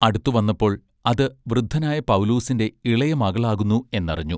അടുത്തു വന്നപ്പോൾ അത് വൃദ്ധനായ പൗലൂസിന്റെ ഇളയ മകളാകുന്നു എന്നറിഞ്ഞു.